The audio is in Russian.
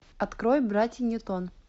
открой братья ньютон